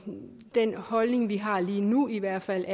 den holdning vi har lige nu i hvert fald